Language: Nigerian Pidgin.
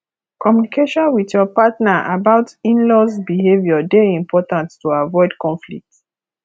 communication with your partner about inlaws behavior dey important to avoid conflict